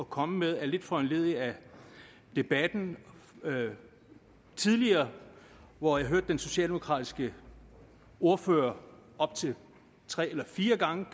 komme med er lidt foranlediget af debatten tidligere hvor jeg hørte den socialdemokratiske ordfører op til tre og fire gange